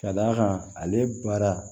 Ka d'a kan ale baara